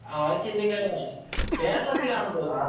ആഹ് അത് ചിന്തിക്കേണ്ടതാണ് കേരളത്തിൽ ആണെന്ന് തോനുന്നു